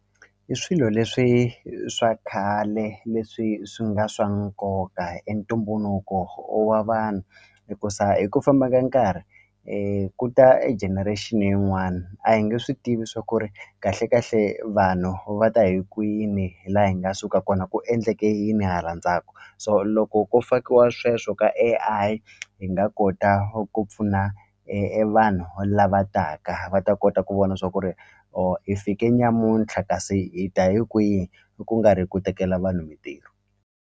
I swilo leswi swa khale leswi swi nga swa nkoka i ntumbuluko wa vanhu hikusa hi ku famba ka nkarhi ku ta e generation yin'wani a hi nge swi tivi swa ku ri kahle kahle vanhu va ta hi kwini la hi nga suka kona ku endleke yini hala ndzhaku so loko ko fakiwa sweswo ka A_I hi nga kota ku pfuna e e vanhu lava taka va ta kota ku vona swa ku ri or i fike nyamuntlha kasi hi ta hi kwihi ku nga ri ku tekela vanhu mintirho.